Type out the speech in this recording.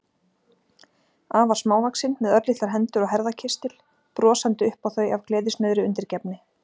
Afar smávaxin, með örlitlar hendur og herðakistil, brosandi upp á þau af gleðisnauðri undirgefni.